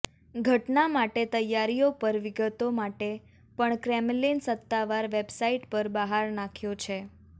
ઘટના માટે તૈયારીઓ પર વિગતો માટે પણ ક્રેમલિન સત્તાવાર વેબસાઇટ પર બહાર નાખ્યો છે